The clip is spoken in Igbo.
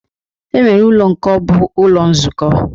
E nwere ụlọ nke bụ ụlọ nzukọ.